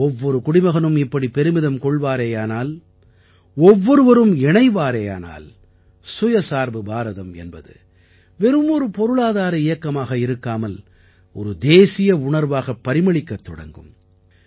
ஒவ்வொரு குடிமகனும் இப்படி பெருமிதம் கொள்வாரேயானால் ஒவ்வொருவரும் இணைவாரேயானால் தற்சார்பு பாரதம் என்பது வெறும் ஒரு பொருளாதார இயக்கமாக இருக்காமல் ஒரு தேசிய உணர்வாகப் பரிமளிக்கத் தொடங்கும்